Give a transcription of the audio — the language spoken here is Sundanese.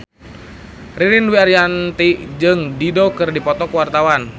Ririn Dwi Ariyanti jeung Dido keur dipoto ku wartawan